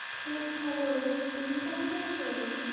খুব ভালো, তুমি কেমন আছো?